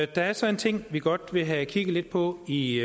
der er så en ting vi godt vil have kigget lidt på i